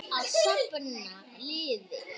Að safna liði!